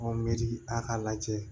a k'a lajɛ